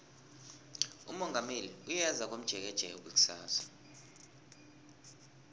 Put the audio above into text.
umongameli uyeza komjekejeke kusasa